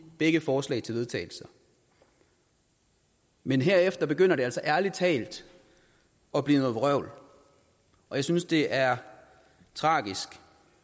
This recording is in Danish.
begge forslag til vedtagelse men herefter begynder det altså ærlig talt at blive noget vrøvl og jeg synes det er tragisk